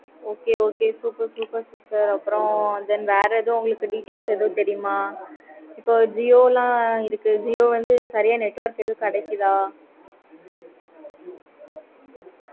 okay okay super super super அப்பறம் then வேற எதுவும் sim ஆஹ் பத்தி தெரியுமா? jio ல இருக்கு jio வந்து சரியா network எதுவும் கிடைக்குதா?